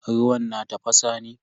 Ruwan na tafasa ne?